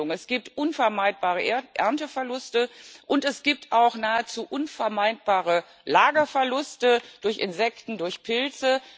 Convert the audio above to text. Es gibt unvermeidbare Ernteverluste, und es gibt auch nahezu unvermeidbare Lagerverluste durch Insekten, durch Pilze.